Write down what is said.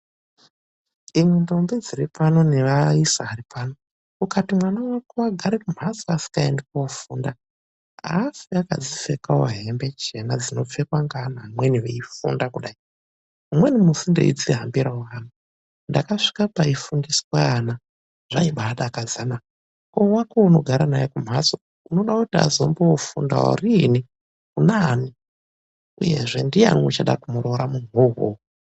Imwi ndombi dziri pano nevaisa ari pano, ukati mwana wako agare kumhatso asikaendi koofunda aafi akadzi pfekawo hembe chena dzinopfekwa ngeana amweni veifunda kudai. Umweni musi ndeizvi hambirawo hangu ndakasvika paifundiswa ana zvaibaa dakadza na. Koo wakowo weunogara naye kumhatso unoda kuti azombofundawo riini? , kuna ani? uyezve ndiyani uchada kumuroora munhuwo uwowo?